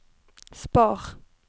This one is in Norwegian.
spar